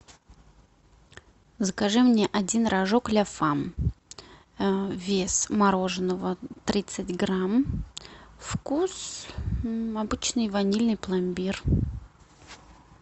закажи мне один рожок ля фам вес мороженого тридцать грамм вкус обычный ванильный пломбир